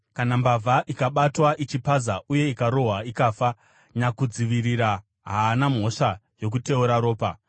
“Kana mbavha ikabatwa ichipaza uye ikarohwa ikafa, nyakudzivirira haana mhosva yokuteura ropa;